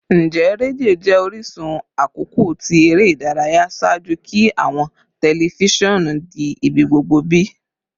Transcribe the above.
Njẹ redio jẹ orisun akọkọ ti ere idaraya ṣaaju ki awọn tẹlifisiọnu di ibigbogbo bi?